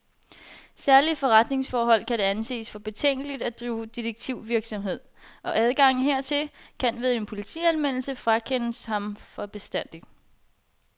Særlig i forretningsforhold må det anses for betænkeligt at drive detektivvirksomhed, og adgangen hertil, kan, ved en politianmeldelse, frakendes ham for bestandig.